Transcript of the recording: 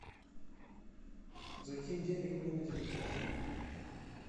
закинь денег мне на телефон